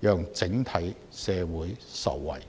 讓整體社會受惠。